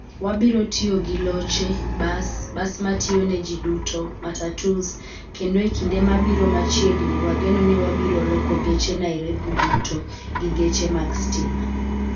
Wabiro tiyo gi loche, bas, bas ma tiyo ne ji duto, matatus, kendo e kinde mabiro machiegni wageno ni wabiro loko geche Nairobi duto gi geche mag stima.